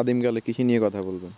আদিম কাল এর কৃষি নিয়ে কথা বলবেন